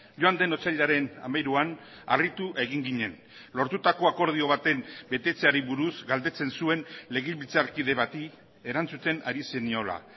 joan den otsailaren hamairuan harritu egin ginen lortutako akordio baten betetzeari buruz galdetzen zuen legebiltzarkide bati erantzuten ari zeniola